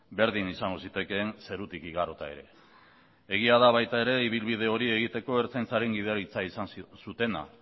berdin izango zitekeen zerutik igarota ere egia da baita ere ibilbide hori egiteko ertzaintzaren gidaritza izan zutena